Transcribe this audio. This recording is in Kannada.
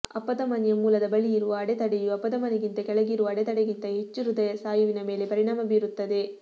ಅಪಧಮನಿಯ ಮೂಲದ ಬಳಿ ಇರುವ ಅಡೆತಡೆಯು ಅಪಧಮನಿಗಿಂತ ಕೆಳಗಿರುವ ಅಡೆತಡೆಗಿಂತ ಹೆಚ್ಚು ಹೃದಯ ಸ್ನಾಯುವಿನ ಮೇಲೆ ಪರಿಣಾಮ ಬೀರುತ್ತದೆ